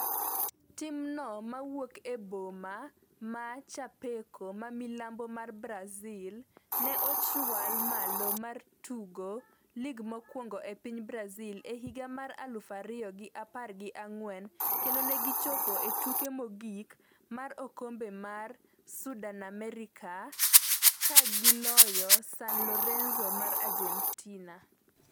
Timno mawuok e boma ma Chapeco, ma milambo mar Brazil, ne ochwal malo mar tugo lig mokwongo e piny Brazil e higa mar aluf ariyo gi apar gi ang'wen kendo ne gichopo e tuke mogik mar okombe mar Sudamericana ka giloyo San Lorenzo mar Argentina.